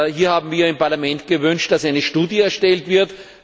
Hier haben wir im Parlament gewünscht, dass eine Studie erstellt wird.